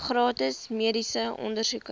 gratis mediese ondersoeke